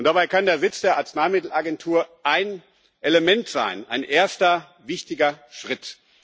Und dabei kann der Sitz der Arzneimittel Agentur ein Element sein, ein erster wichtiger Schritt.